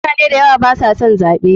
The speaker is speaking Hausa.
Mutane dayawa baso son zaɓe.